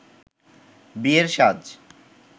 বিয়ের সাজ